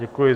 Děkuji.